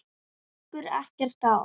Okkur liggur ekkert á.